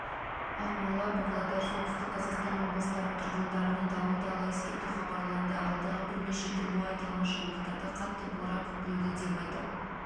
ақмола палодар солтүстік қазақстан облыстарының тұрғындарына дауылды ала ескерту хабарланды алдағы бірнеше күн бойы аталмыш аймақтарда қатты боран күтілуде деп айтып